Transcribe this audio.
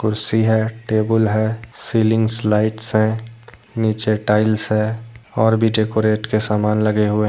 कुर्सी है टेबुल है सीलिंग लाइट्स है नीचे टाइल्स है और भी डेकोरेट के समान लगे हुए हैं।